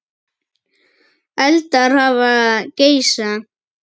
Eldar hafa geisað